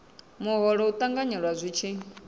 muholo u ṱanganyelwa zwi tshi